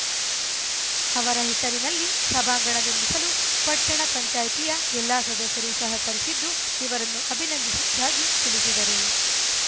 ಅವರ ಹೆಸರಿನಲ್ಲಿ ಸಭಾಂಗಣ ನಿರ್ಮಿಸಲು ಪಟ್ಟಣ ಪಂಚಾಯತಿ ಯ ಎಲ್ಲ ಸದಸ್ಯರೂ ಸಹಕರಿಸಿದ್ದು ಇವರನ್ನು ಅಭಿನಂದಿಸುವುದಾಗಿ ತಿಳಿಸಿದರು